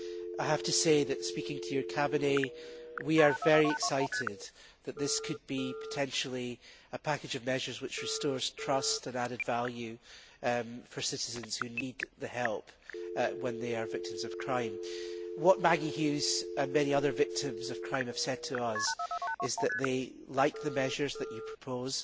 I have to say that, speaking to your staff, we are very excited that this could potentially be a package of measures that restores trust and added value for citizens who need help when they are victims of crime. What Maggie Hughes and many other victims of crime have said to us is that they like the measures that you propose